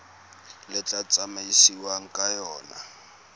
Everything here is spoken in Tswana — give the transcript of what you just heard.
le tla tsamaisiwang ka yona